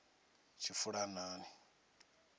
tshifulanani